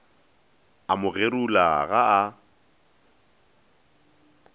a mo gerula ga a